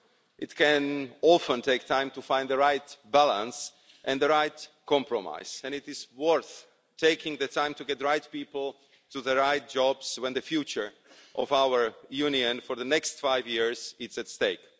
It can often take time to find the right balance and the right compromise and it is worth taking the time to get the right people for the right jobs when the future of our Union for the next five years is at stake.